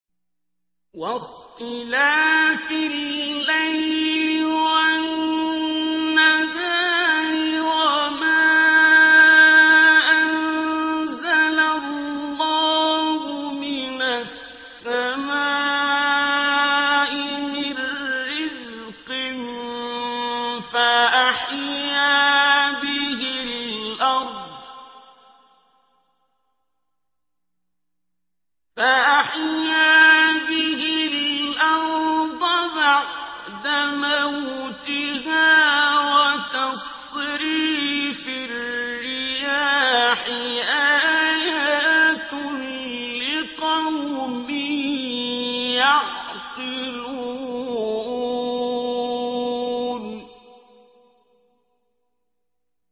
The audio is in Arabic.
وَاخْتِلَافِ اللَّيْلِ وَالنَّهَارِ وَمَا أَنزَلَ اللَّهُ مِنَ السَّمَاءِ مِن رِّزْقٍ فَأَحْيَا بِهِ الْأَرْضَ بَعْدَ مَوْتِهَا وَتَصْرِيفِ الرِّيَاحِ آيَاتٌ لِّقَوْمٍ يَعْقِلُونَ